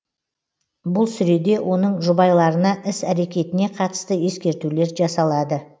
бұл сүреде оның жұбайларына іс әрекетіне қатысты ескертулер жасалады